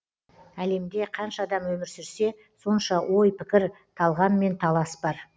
әлемде қанша адам өмір сүрсе сонша ой пікір талғам мен талас бар